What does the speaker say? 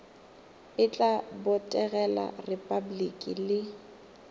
e tla botegela repabliki le